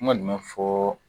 N kɔnni ma fɔɔ.